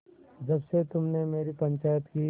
जब से तुमने मेरी पंचायत की